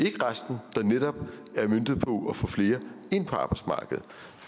ikke resten der netop er møntet på at få flere ind på arbejdsmarkedet